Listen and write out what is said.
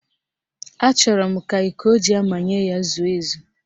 Achọrọ m ka iko o ji amanye ya zuo ezu